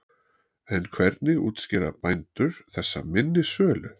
En hvernig útskýra bændur þessa minni sölu?